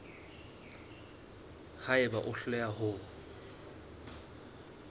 ha eba o hloleha ho